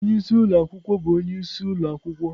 Onye isi ụlọ akwụkwọ bụ onye isi ụlọ akwụkwọ.